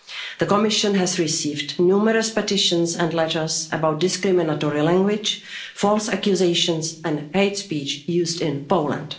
The Commission has received numerous petitions and letters about discriminatory language, false accusations and hate speech used in Poland.